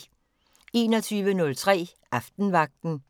21:03: Aftenvagten